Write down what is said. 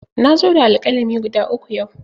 Na zo da alƙalami guda uku yau.